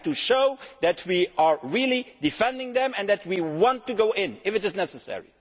We have to show that we are really defending them and that we want to go in if it is necessary.